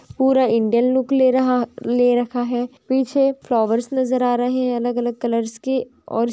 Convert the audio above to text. पूरा Indian look ले रहा ले रखा है पीछे फ्लावर्स नज़र आ रहे हैं अलग-अलग कलर्स के और--